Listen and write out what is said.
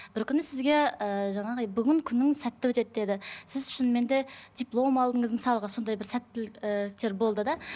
бір күні сізге ііі жаңағы бүгін күнің сәтті өтеді деді сіз шынымен де диплом алдыңыз мысалға сондай бір сәттілік і болды да